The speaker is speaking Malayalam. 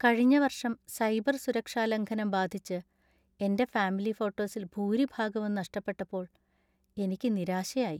കഴിഞ്ഞ വർഷം സൈബർ സുരക്ഷാലംഘനം ബാധിച്ച് എന്‍റെ ഫാമിലി ഫോട്ടോസിൽ ഭൂരിഭാഗവും നഷ്ടപ്പെട്ടപ്പോൾ എനിക്ക് നിരാശയായി.